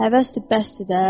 Həvəsdir, bəsdir də.